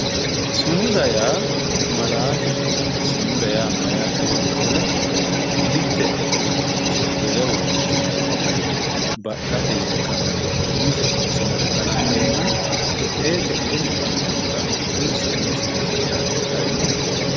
sumuda yaa malaateho sumuda yaa mayyaate yoottohura mitte uurrinsha wole uurrinshanni baxxate yine ka'ne umise sumuda kalanqeenna te"ee te"eewi bande anfayiihu hakkuyii sumudisenniiti yaate xawinohe.